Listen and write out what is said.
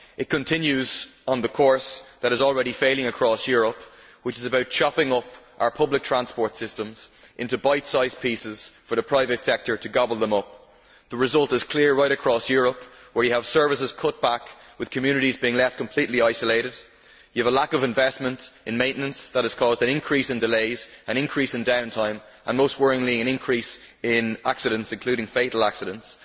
It continues on the course, which is already failing across Europe, of chopping up our public transport systems into bite size pieces for the private sector to gobble up. The result is clear right across Europe, where you have services being cut back, leaving communities completely isolated, you have a lack of investment in maintenance that has caused an increase in delays, an increase in down time and, most worryingly, an increase in accidents, including fatal accidents.